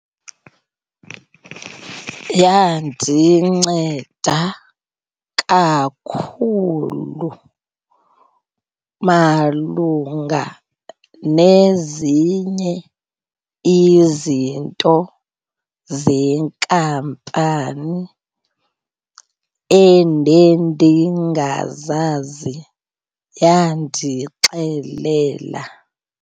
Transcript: Yandinceda kakhulu malunga nezinye izinto zenkampani endendingazazi yandixelela.